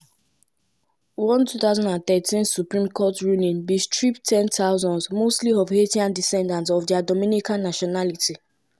many international humanitarian organisations and di inter-american court of human rights bin condemn di move.